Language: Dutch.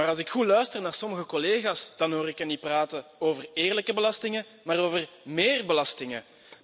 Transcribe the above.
Maar als ik goed luister naar sommige collega's, dan hoor ik hen niet praten over eerlijke belastingen, maar over méér belastingen.